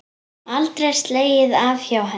Aldrei slegið af hjá henni.